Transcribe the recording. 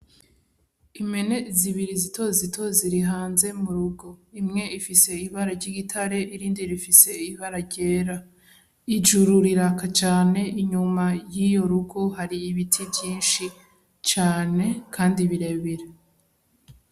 Impene zibiri zitozito ziri hanze murugo imwe ifise ibara ry'igitare iyindi ifise ibara ryera ijuru riraka cane inyuma yiyo rugo hari ibiti vyinshi cane kandi birebire